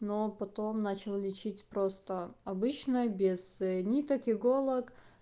но потом начал лечить просто обычное без ниток иголок